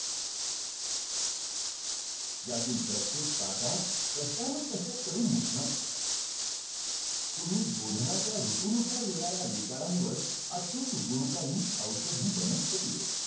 dVTD फक्त University चे exam घेते फक्त